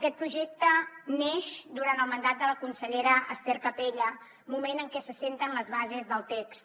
aquest projecte neix durant el mandat de la consellera ester capella moment en què s’assenten les bases del text